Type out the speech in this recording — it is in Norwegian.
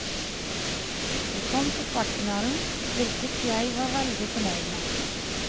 Jeg kom til kvartfinalen, hvilket jeg var veldig fornøyd med.